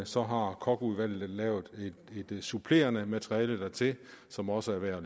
så har kochudvalget lavet et supplerende materiale dertil som også er værd at